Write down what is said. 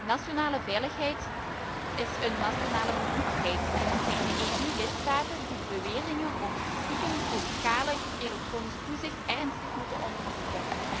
Nationale veiligheid is een nationale bevoegdheid en het zijn de EU lidstaten die de beweringen over stiekem grootschalig elektronisch toezicht ernstig moeten onderzoeken.